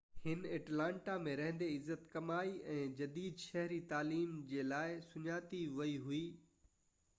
هن اٽلانٽا ۾ رهندي عزت ڪمائي ۽ جديد شهري تعليم جي لاءِ سڃاتي ويئي هئي